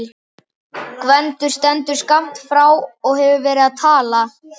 Gvendur stendur skammt frá og hefur verið að tala.